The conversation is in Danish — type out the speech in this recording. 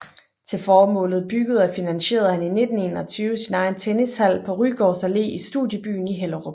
Til formålet byggede og finansierede han i 1921 sin egen tennishal på Rygårds Allé i Studiebyen i Hellerup